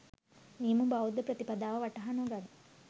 නියම බෞද්ධ ප්‍රතිපදාව වටහා නොගනී.